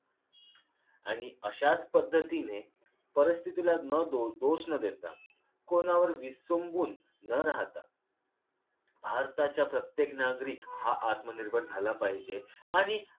आणि अशाच पद्धतीने परिस्थितीला न द दोष न देता कोणावर विसंबून न राहता भारताच्या प्रत्येक नागरिक हा आत्मनिर्भर झाला पाहिजे